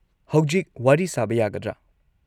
ꯍꯧꯖꯤꯛ ꯋꯥꯔꯤ ꯁꯥꯕ ꯌꯥꯒꯗ꯭ꯔꯥ?